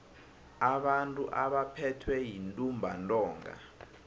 abantu abaphethwe yintumbantonga